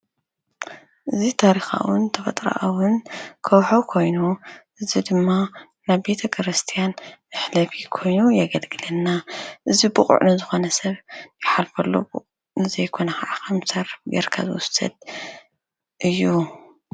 እዚ ታሪካውን ተፈጥራኣውን ካውሒ ኮይኑ እዚ ድማ ናብ ቤተክርስትያን መሕለፊ ኮይኑ የገልግለና፡፡ እዚ ቡቁዕ ንዝኮነ ሰብ ክሓልፈሉ ንዘይኮነ ከዓ ከም ዝተርፈ ጌርካ ዝውሰድ እዩ፡፡